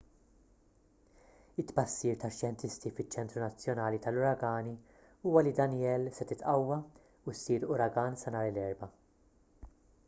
it-tbassir tax-xjentisti fiċ-ċentru nazzjonali tal-uragani huwa li danielle se titqawwa u ssir uragan sa nhar l-erbgħa